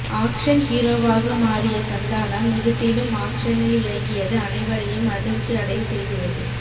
action ஹீரோவாக மாறிய சந்தானம் நிஜத்திலும் ஆக்சனில் இறங்கியது அனைவரையும் அதிர்ச்சி அடைய செய்துள்ளது